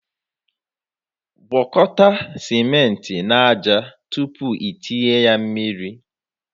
gwakọta ciment na ájá tupu i tinye mmiri